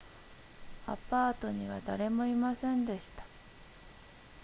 アパートには誰もいませんでした